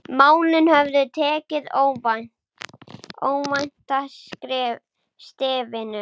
Málin höfðu tekið óvænta stefnu.